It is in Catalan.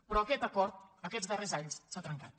però aquest acord aquests darrers anys s’ha trencat